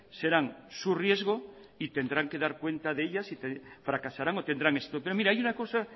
serán su riesgo y tendrán que dar cuenta de ellas y fracasarán o tendrán éxito pero mire hay una cosa